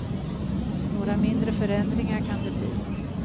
Några mindre förändringar kan det bli.